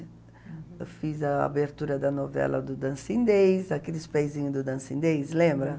Eu fiz a abertura da novela do Dancindês, aqueles peizinhos do Dancindês, lembra?